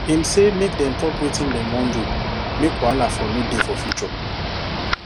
him say make dem talk wetin dem wan do make wahala for no dey for future